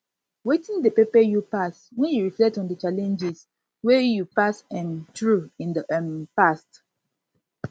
wetin dey pepe you pass when you reflect on di challenges wey you challenges wey you pass um through in dey um past